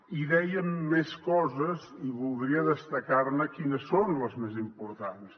i dèiem més coses i voldria destacar quines són les més importants